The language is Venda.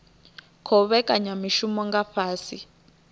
khou vhekanya mishumo nga fhasi